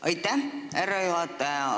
Aitäh, härra juhataja!